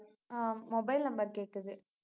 ஆஹ் mobile number கேட்குது